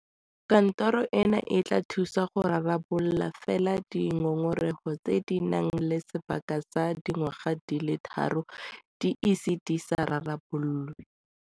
Kantoro eno e tla thusa go rarabolola fela di ngongora tse di nang le sebaka sa dingwaga di le tharo di ise di rarabololwe.